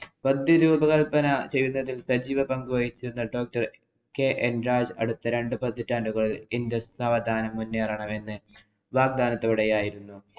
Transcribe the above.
പ്രതിരൂപകല്‍പന ചെയ്തിരുന്ന സജീവ പങ്കു വഹിച്ചിരുന്ന കെ എന്‍ രാജ് അടുത്ത രണ്ടു പതിറ്റാണ്ടുകള്‍ indus നവോത്ഥാനം മുന്നേറണമെന്ന് വാഗ്ദാനത്തോടെ ആയിരുന്നു.